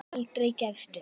Aldrei gefist upp.